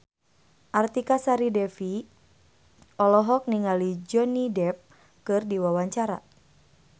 Artika Sari Devi olohok ningali Johnny Depp keur diwawancara